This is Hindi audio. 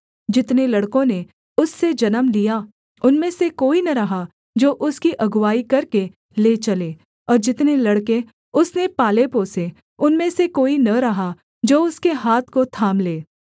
जितने लड़कों ने उससे जन्म लिया उनमें से कोई न रहा जो उसकी अगुआई करके ले चले और जितने लड़के उसने पालेपोसे उनमें से कोई न रहा जो उसके हाथ को थाम ले